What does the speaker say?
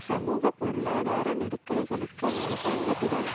சமூகபொருளாதார நெருக்கடிகளுக்கு அரசாங்கத்திடம்